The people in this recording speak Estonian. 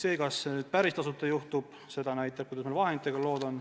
Aga kas see päris tasuta käib, see oleneb sellest, kuidas meil vahenditega lood on.